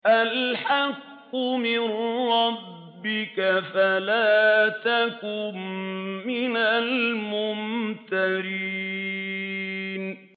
الْحَقُّ مِن رَّبِّكَ فَلَا تَكُن مِّنَ الْمُمْتَرِينَ